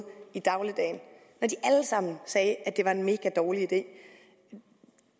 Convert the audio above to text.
i dagligdagen sagde at det var en mega dårlig idé